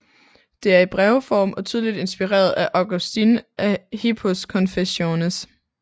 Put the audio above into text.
Det er i brevform og tydeligt inspireret af Augustin af Hippos Confessiones